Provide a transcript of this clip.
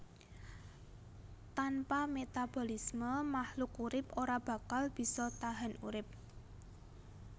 Tanpa metabolisme makhluk urip ora bakal bisa tahan urip